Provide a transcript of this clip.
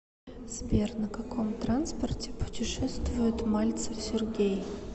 сбер на каком транспорте путешествует мальцев сергей